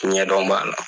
Ɲɛdɔn b'a la